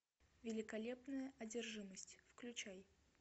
великолепная одержимость включай